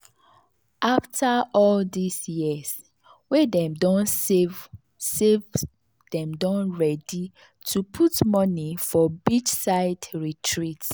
after all this years wey dem don save save dem don ready to put money for the beachside retreat